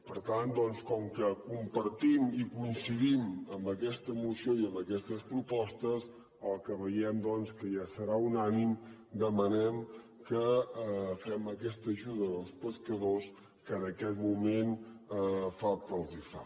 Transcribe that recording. per tant doncs com que compartim i coincidim amb aquesta moció i amb aquestes propostes el que veiem que ja serà unànime demanem que fem aquesta ajuda als pescadors que en aquest moment falta els fa